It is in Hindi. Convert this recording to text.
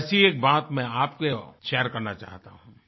वैसी एक बात मैं आपको शेयर करना चाहता हूँ